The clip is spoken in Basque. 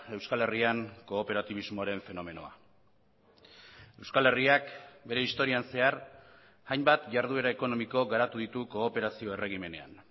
euskal herrian kooperatibismoaren fenomenoa euskal herriak bere historian zehar hainbat jarduera ekonomiko garatu ditu kooperazio erregimenean